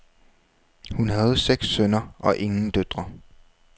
Hun havde seks sønner og ingen døtre.